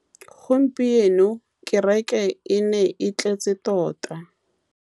Gompieno kêrêkê e ne e tletse tota.